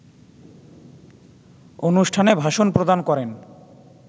অনুষ্ঠানে ভাষণ প্রদান করেন